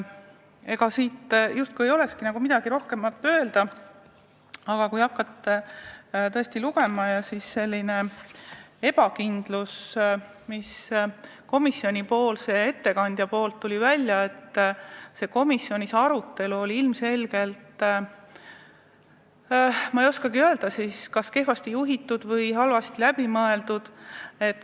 Ega justkui ei olekski midagi rohkemat öelda, aga ebakindlus, mis komisjoni ettekandja kõnest välja tuli, viitas, et komisjoni arutelu oli ilmselgelt, ma ei oskagi öelda, kas kehvasti juhitud või halvasti läbi mõeldud.